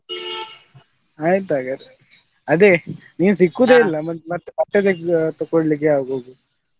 ಆಯ್ತ್ ಹಾಗದ್ರೆ ಅದೇ ನೀನ್ ಸಿಕ್ಕುದೆ ಮತ್ತೆ ಬಟ್ಟೆ ತಗೊಳ್ಲಿಕ್ಕೆ ಯಾವಾಗ ಹೋಗುದು?